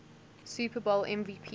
super bowl mvp